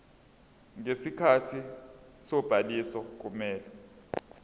ngesikhathi sobhaliso kumele